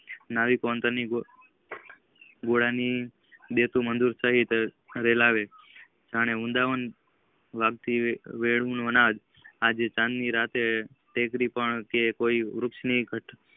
નવી ગોળો ની મધર સહીત રેલવે જયારે વૃન્દાવન વાગે થી વેળુઓનાં ચાંદની રાત વેતરું પણ તે વૃક્ષ ની ગાંઠ